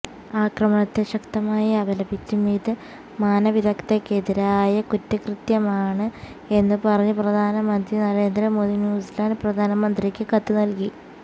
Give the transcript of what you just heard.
ആക്രമണത്തെ ശക്തമായി അപലപിച്ചും ഇത് മാനവികതയ്ക്കെതിരായ കുറ്റകൃത്യമാണ് എന്ന് പറഞ്ഞ് പ്രധാനമന്ത്രി നരേന്ദ്ര മോദി ന്യൂസിലാന്റ് പ്രധാനമന്ത്രിക്ക് കത്ത് നല്കി